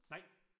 Nej